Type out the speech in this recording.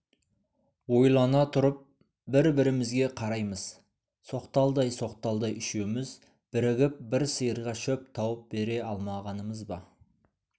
ойлана тұрып бір-бірімізге қараймыз соқталдай-соқталдай үшеуміз бірігіп бір сиырға шөп тауып бере алмағанымыз ба